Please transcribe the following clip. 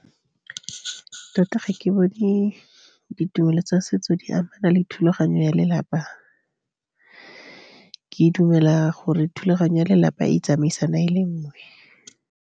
Tota, ga ke bone ditumelo tsa setso di amana le thulaganyo ya lelapa. Ke dumela gore thulaganyo ya lelapa e tsamaisana e le nngwe.